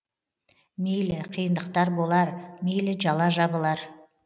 мейлі қиындықтар болар мейлі жала жабылар